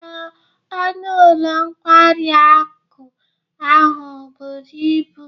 Ee, ọnụ ụlọ nkwari akụ ahụ buru ibu